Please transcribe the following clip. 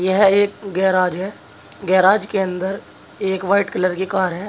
यह एक गैराज है गैराज के अंदर एक वाइट कलर की कार है।